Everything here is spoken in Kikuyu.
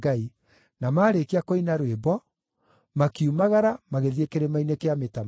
Na maarĩkia kũina rwĩmbo, makiumagara magĩthiĩ kĩrĩma-inĩ kĩa Mĩtamaiyũ.